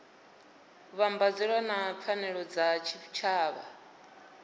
vhambedzwa na pfanelo dza tshitshavha